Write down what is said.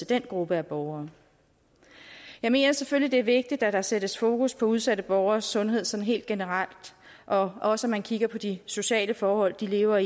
den gruppe af borgere jeg mener selvfølgelig det er vigtigt at der sættes fokus på udsatte borgeres sundhed sådan helt generelt og også at man kigger på de sociale forhold de lever